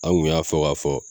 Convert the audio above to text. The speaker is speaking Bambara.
An gu y'a fɔ k'a fɔ